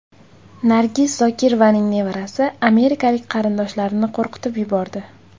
Nargiz Zokirovaning nevarasi amerikalik qarindoshlarini qo‘rqitib yubordi.